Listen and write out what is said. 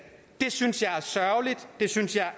det synes jeg er sørgeligt det synes jeg er